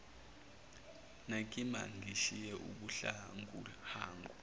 nakimi angishise ubuhanguhangu